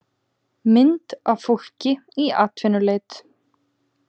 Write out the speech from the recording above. Mynd af fólki í atvinnuleit.